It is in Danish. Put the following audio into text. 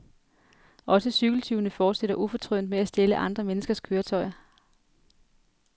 Også cykeltyvene fortsætter ufortrødent med at stjæle andre menneskers køretøjer.